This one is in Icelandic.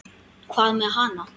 Hvað með hana?